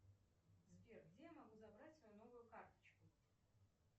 сбер где я могу забрать свою новую карточку